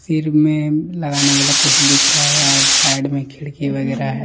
सिर में लगाने वाला कोई दिख रहा है और साइड में खिड़की वगैर है।